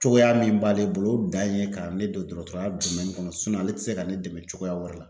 Cogoya min b'ale bolo o dan ye ka ne don dɔgɔtɔrɔya kɔnɔ ale te se ka ne dɛmɛ cogoya wɛrɛ la .